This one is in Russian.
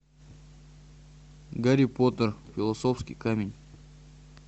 гарри поттер философский камень